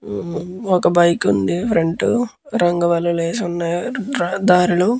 ఒక బైక్ ఉంది. ఫ్రంట్ రంగవల్లులు వేసి ఉన్నాయ్ దారిలో.